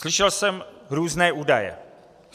Slyšel jsem různé údaje.